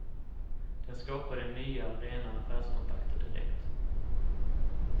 Den skapade nya, rena affärskontakter direkt.